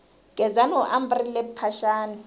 gezani u ambarile mphaxani